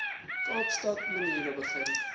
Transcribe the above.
kaapstad maniere begin